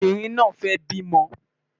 Obìnrin náà fẹ́ bímọ